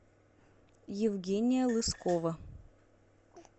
евгения лыскова